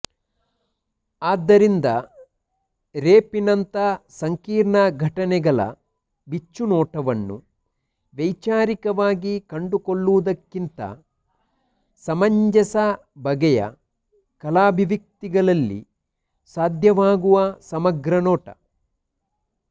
ಆದ್ದರಿಂದ ರೇಪಿನಂಥ ಸಂಕೀರ್ಣ ಘಟನೆಗಳ ಬಿಚ್ಚುನೋಟವನ್ನು ವೈಚಾರಿಕವಾಗಿ ಕಂಡುಕೊಳ್ಳುವುದಕ್ಕಿಂತಾ ಸಮಂಜಸ ಬಗೆಯ ಕಲಾಭಿವ್ಯಕ್ತಿಗಳಲ್ಲಿ ಸಾಧ್ಯವಾಗುವ ಸಮಗ್ರ ನೋಟ